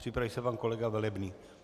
Připraví se pan kolega Velebný.